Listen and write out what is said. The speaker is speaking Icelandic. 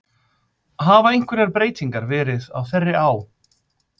Hafa einhverjar breytingar verið á þeirri á?